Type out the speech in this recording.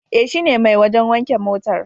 E, shine mai wajen wanke motar.